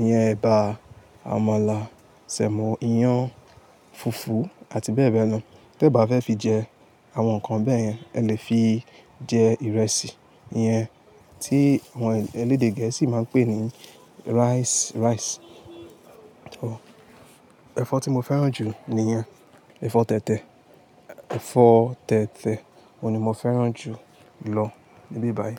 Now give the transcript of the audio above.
iyan, ẹ̀bà, àmàlà, sẹ̀mọ́, iyán, fùfú àti bẹ́ẹ̀ bẹ́ẹ̀ lọ. Tẹ́ bá fẹ́ fi jẹ àwọn nǹkan bẹ́ẹ̀ yẹn, ẹ lè fi jẹ ìrẹsì. Iyẹn tí àwọn elédè gẹ̀ẹ́sì máa ń pè ní rice, rice. Ọ, ẹ̀fọ́ tí mo fẹ́ràn jù niyen, ẹ̀fọ́ tẹ̀tẹ̀. Ẹ̀fọ́ tẹ̀tẹ̀ òun ni mo fẹ́ràn jù lọ níbí báyìí.